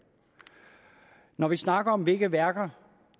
når vi så snakker om hvilke værker